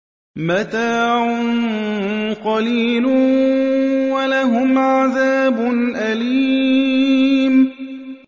مَتَاعٌ قَلِيلٌ وَلَهُمْ عَذَابٌ أَلِيمٌ